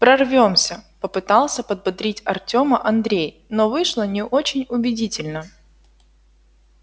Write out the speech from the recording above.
прорвёмся попытался подбодрить артёма андрей но вышло не очень убедительно